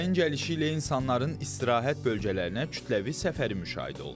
Yayın gəlişi ilə insanların istirahət bölgələrinə kütləvi səfəri müşahidə olunur.